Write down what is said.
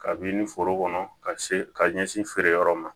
Kabini foro kɔnɔ ka se ka ɲɛsin feere yɔrɔ ma